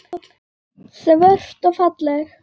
Svört og falleg.